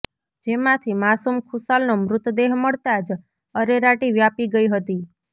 જેમાંથી માસુમ ખુશાલનો મૃતદેહ મળતાં જ અરેરાટી વ્યાપી ગઇ હતી